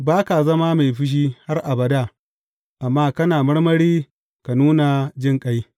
Ba ka zama mai fushi har abada amma kana marmari ka nuna jinƙai.